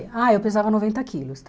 Ah, eu pesava noventa quilos, tá?